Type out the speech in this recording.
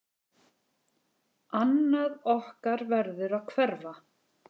Annað okkar verður að hverfa.